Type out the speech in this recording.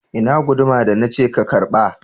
Ina guduma da na ce ka karba?